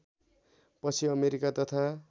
पछि अमेरिका तथा